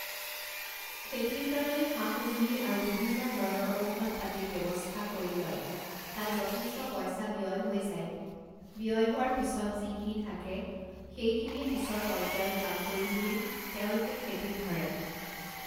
খেতিৰ কাৰণে সা সঁজুলি আৰু বিভিন্ন ধৰণৰ ঔষধ পাতিৰ ব্যৱস্থা কৰি লয় তাত যথেষ্ট পইচা ব্যয় হৈ যায় ব্যয় হোৱাৰ পিছত যিখিনি থাকে সেইখিনিয়ে পিছৰ পৰ্যায়্যৰ কাম কৰিম বুলি তেওঁলোকে খেতিত ধৰে